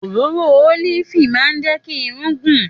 Òròrò olifi mà jẹ ki ìrún gùn